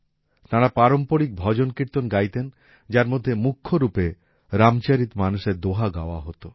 তাঁরা পারম্পরিক ভজন কীর্তন গাইতেন যার মধ্যে মুখ্য রূপে রামচরিত মানসএর দোহা গাওয়া হত